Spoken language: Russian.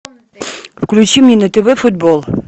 включи мне на тв футбол